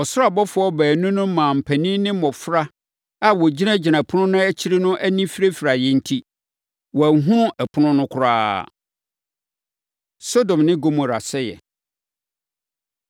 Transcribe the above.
Ɔsoro abɔfoɔ baanu no maa mpanin ne mmɔfra a wɔgyinagyina ɛpono no akyiri no ani firafiraeɛ enti, wɔanhunu ɛpono no koraa. Sodom Ne Gomora Sɛeɛ